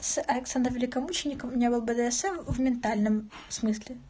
сексом великомученика у меня был бдсм в ментальном смысле